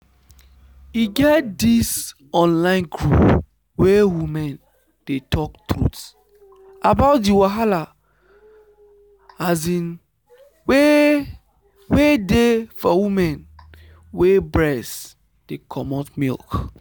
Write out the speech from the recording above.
e get this online group where women dey talk truth about the wahala um wey wey dey for women wey breast dey comot milk.